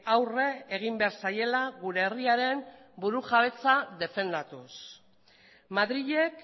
aurre egin behar zaiela gure herriaren burujabetza defendatuz madrilek